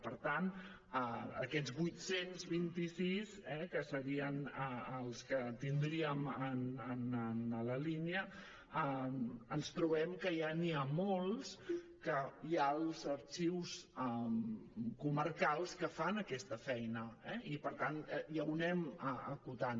per tant aquests vuit cents i vint sis eh que serien els que tindríem en la línia ens trobem que ja n’hi ha molts que hi ha els arxius comarcals que fan aquesta feina i per tant ja ho anem acotant